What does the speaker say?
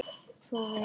Svo var vélin ræst.